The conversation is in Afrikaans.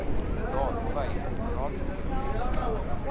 daar vyf raadskomitees